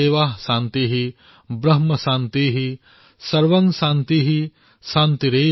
वनस्पतयः शान्तिः विश्वेदेवाः शान्तिः ब्रह्म शान्तिः